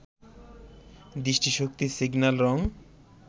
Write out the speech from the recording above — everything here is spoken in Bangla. দৃষ্টি শক্তি, সিগন্যাল, রং